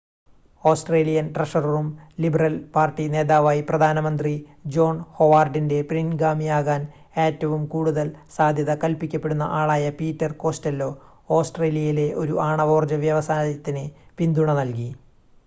Australian ട്രഷററും Liberal Party നേതാവായി പ്രധാന മന്ത്രി ജോൺ ഹൊവാർഡിൻ്റെ പിൻഗാമിയാകാൻ ഏറ്റവും കൂടുതൽ സാധ്യത കൽപ്പിക്കപ്പെടുന്ന ആളായ പീറ്റർ കോസ്റ്റെല്ലോ ഓസ്ട്രേലിയയിലെ ഒരു ആണവോർജ്ജ വ്യവസായത്തിന് പിന്തുണ നൽകി